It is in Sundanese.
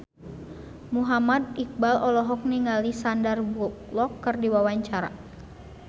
Muhammad Iqbal olohok ningali Sandar Bullock keur diwawancara